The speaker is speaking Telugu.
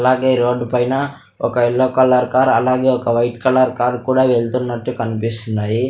అలాగే రోడ్డు పైన ఒక ఎల్లో కలర్ కార్ అలాగే ఒక వైట్ కలర్ కార్ కూడా వెళ్తున్నట్టు కనిపిస్తున్నాయి.